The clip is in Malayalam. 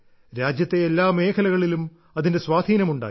രാജ്യത്തെ എല്ലാ മേഖലകളിലും അതിന്റെ സ്വാധീനം ഉണ്ടായി